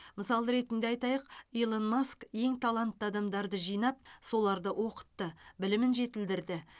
мысал ретінде айтайық илон маск ең талантты адамдарды жинап соларды оқытты білімін жетілдірді